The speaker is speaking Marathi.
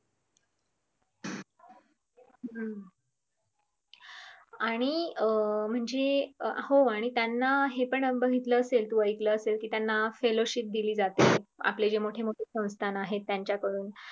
हम्म आणि अं म्हणजे हो आणि त्यांना हे अनुभव घेतलं असेल तू आईकल असेल कि त्यांना feloshit दिली जाते आपली जी मोठीमोठी संस्थान आहेत त्यांच्याकडून